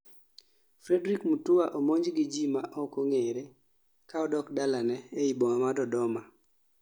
Fredrick Mutua omonj gi jii ma ok ong'ere kaa odok dalane ei boma ma Dodoma